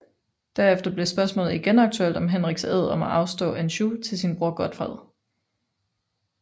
Derefter blev spørgsmålet igen aktuelt om Henriks ed om at afstå Anjou til sin bror Godfred